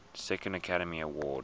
second academy award